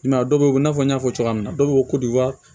I m'a ye dɔw bɛ ko i n'a fɔ n y'a fɔ cogoya min na dɔw bɛ fɔ ko wa